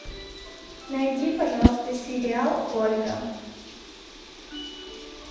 найди пожалуйста сериал ольга